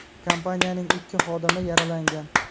Kompaniyaning ikki xodimi yaralangan.